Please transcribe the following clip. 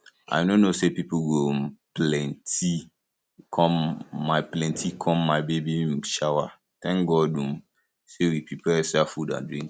i no know say people go um plenty come my plenty come my baby um shower thank god um say we prepare extra food and drinks